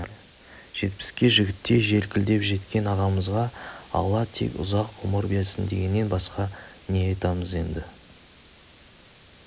жетпіске жігіттей желкілдеп жеткен ағамызға алла тек ұзақ ғұмыр берсін дегеннен басқа не айтамыз енді